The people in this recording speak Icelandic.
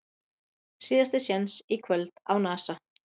Síðasti séns í kvöld á Nasa